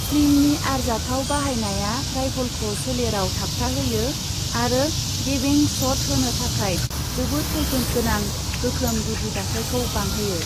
स्लिंनि आरजाथाव बाहायनाया राइफलखौ सोलेराव थाबथाहोयो आरो गेबें शट होनो थाखाय जोबोद खैफोद गोनां गोख्रों गुदि दाथायखौ बांहोयो।